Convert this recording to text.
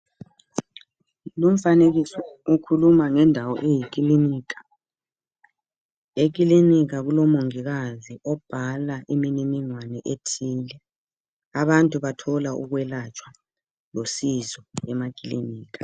Lumfanekiso ukhuluma ngendawo eyikilinika, ekilinika kulomongikazi obhala imininingwana ethile abantu bathola ukwelatshwa losizo emakilinika.